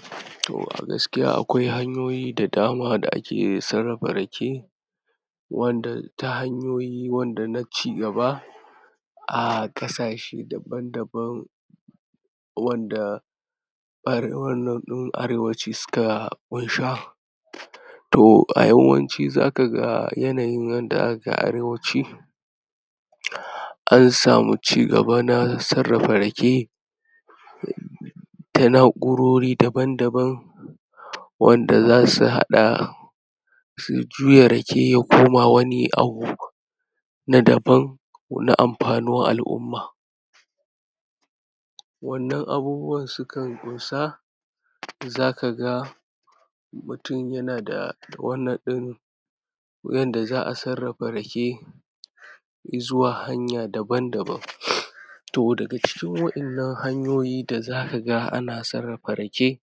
um to a gaskiya akwai hanyoyi da dama ake sarrafa rake wanda ta hanyoyi wanda na cigaba a ƙasashe daban daban wanda um arewaci su ka ƙunsha to a yawanci za ka ga yanayin yadda aka arewaci an samu cigaba na sarrafa rake da na'urori daban daban wanda za su haɗa su juya rake ya koma wani abu na daban ko na amfanuwar al'umma. Wannan abubuwan su kan ƙunsa za ka ga mutum ya na da wannan din yadda za'a sarrafa rake zuwa hanya daban daban To daga cikin waɗannan hanyoyi da za ka ga ana sarrafa rake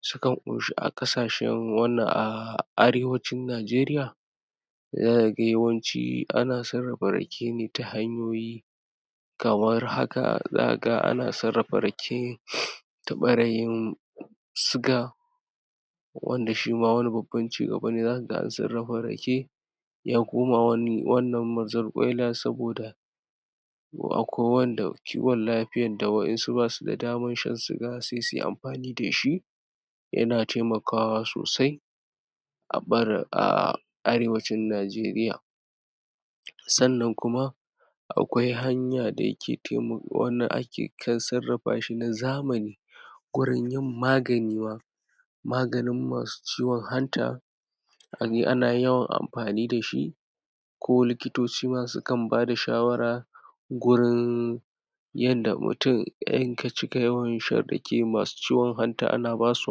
su kan ƙunshi a ƙasashen wannan a arewancin Nijeriya za ka ga yawanci ana sarrafa rake ta hanyoyi kamar haka: Za ka ga ana sarrafa rake ta bara yin suga wanda shima wani babban cigaba ne, za ka ga an sarrafa rake ya koma wani wannnan mazarkwaila saboda akwai wanda kiwon lafiyan da wa'insu basu da daman shan suga sai suyi amfani dashi, ya na taimakawa sosai a bar aaaa arewacin Nijeriya sannan kuma akwai hanya dake taimako um wanda ake kan sarrafa shi na zamani wurin yin magani ba maganin masu ciwon hanta, aje ana yawan amfani dashi ko likitoci su kan bada shawara gurin yadda mutum in ka cika yawan shan rake masu ciwon hanta ana basu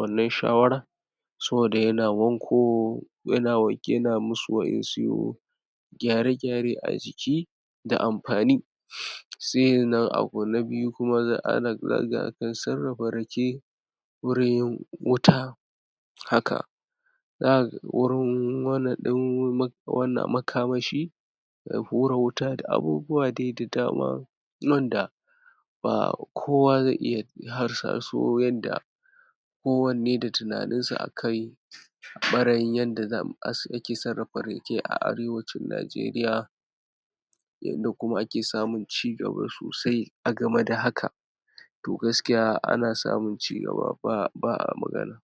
wannan shawara saboda ya na wanko ya na um ya na masu wa'insu gyare gyare a jiki da amfani. Sa'annan abu na biyu kuma um ana sarrafa rake wurin yin wuta haka za ka ga wurin um wannan din um wannan makamashi da hura wuta da abubuwa dai da dama nan da ba kowa zai iya su hasaso yadda ko wanne da tunaninsa akai bara yin yadda um ake sarrafa rake a arewacin Nijeriya yadda kuma ake samun cigaba sosai a game da haka to gaskiya ana samun cigaba ba fa ba a magana.